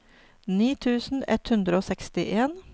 ni tusen ett hundre og sekstien